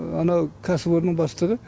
ана кәсіпорын бастығы